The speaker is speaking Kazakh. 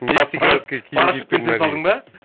парашютпен түсе салдың ба